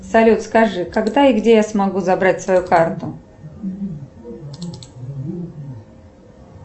салют скажи когда и где я смогу забрать свою карту